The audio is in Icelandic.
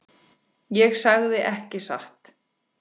Ég sagði ekki satt.